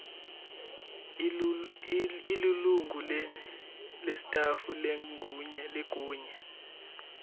ulilungu lestafu legunya